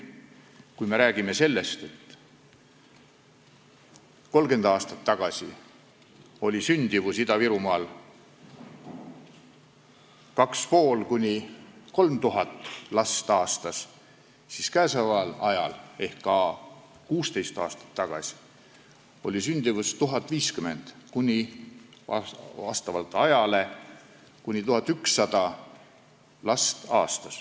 Kui me räägime sellest, et 30 aastat tagasi oli sündimus Ida-Virumaal 2500–3000 last aastas, siis 16 aasta jooksul on sündimus olnud vastavalt aastale 1050–1100 last.